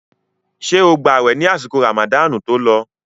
Ṣé o gba àwẹ̀ ní àsìkò ràmàdáànù tó lọ?